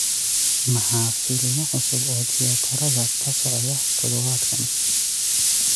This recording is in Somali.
maxaa filimo cusub oo tiyaatarada ka socda todobaadkan